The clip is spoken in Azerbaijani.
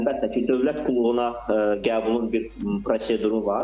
Əlbəttə ki, dövlət qulluğuna qəbulun bir proseduru var.